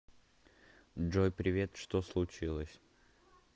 джой привет что случилось